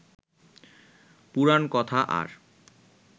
পুরাণকথা আর